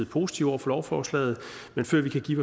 positiv over for lovforslaget men før vi kan give